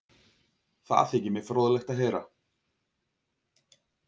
Það þykir mér fróðlegt að heyra